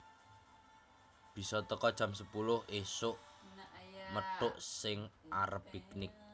Bise teko jam sepuluh isuk methuk sing arep piknik